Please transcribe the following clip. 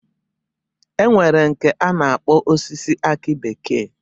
E nwere nke a na-akpọ osisi akị bekee